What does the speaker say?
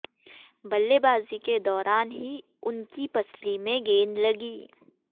बल्लेबाजी के दौरान ही उनकी पसली में गेंद लगी